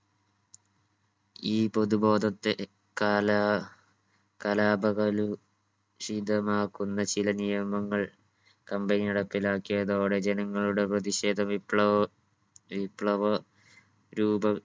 ഈ പൊതുബോധത്തെ കാലാ കലാപകലു ഷിതമാക്കുന്ന ചില നിയമങ്ങൾ company നടപ്പിലാക്കിയതോടെ ജനങ്ങളുടെ പ്രതിഷേധ വിപ്ലവ വിപ്ലവ രൂപം